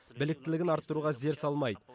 біліктілігін арттыруға зер салмайды